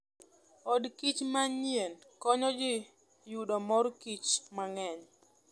Od kich manyien konyo ji yudo mor kich mang'eny.